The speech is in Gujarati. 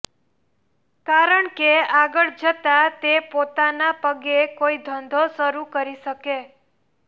કારણકે આગળ જતાં તે પોતાના પગ કોઈ ધંધો શરુ કરી શકે